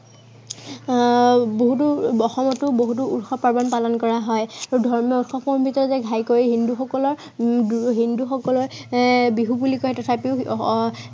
আহ বহুতো অসমতে বহুতো উৎসৱ পৰ্ব পালন কৰা হয়। আৰু ধৰ্মীয় উৎসৱ ঘাইকৈ হিন্দুসকলৰ উম হিন্দুসকলে এৰ বিহু বুলি কয় তথাপিও আহ